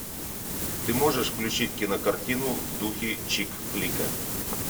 ты можешь включить кинокартину в духе чик флика